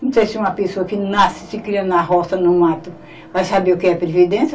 Não sei se uma pessoa que nasce e se cria na roça, no mato, vai saber o que é previdência.